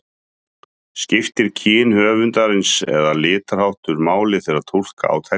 Skiptir kyn höfundarins eða litarháttur máli þegar túlka á textann?